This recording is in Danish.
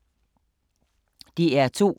DR2